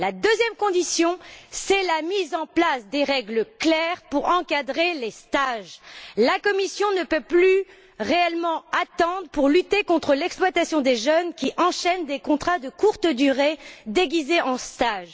La deuxième condition, c'est la mise en place de règles claires pour encadrer les stages. La Commission ne peut plus réellement attendre pour lutter contre l'exploitation des jeunes qui enchaînent des contrats de courte durée déguisés en stages.